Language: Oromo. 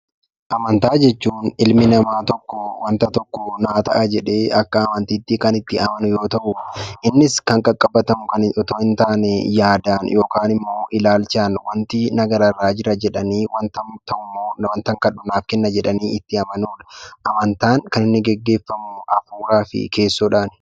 Amantaa jechuun ilmi namaa tokko waanta tokko naaf ta'a jedhee akka amantiitti kan itti amanu yoo ta'u, innis kan qaqqabatamu otoo hin taane yaadaan yookaan immoo ilaalchaan waantii na gararraa jira jedhanii hubatamu yoo ta'u, waanta kadhu naaf ta'a jedhanii itti amanuudha. Amantaan kan inni gaggeeffamu duubaa fi keessoodhaani.